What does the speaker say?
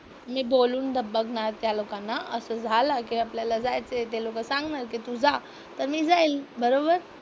मी बोलून बघ बघणार त्या लोकांना असं असं झालं की आपल्याला जायचंय, ते लोकं सांगणार की तू जा तर मी जाईल. बरोबर?